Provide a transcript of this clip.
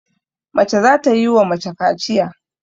Mace za ta yi wa mace kaciya.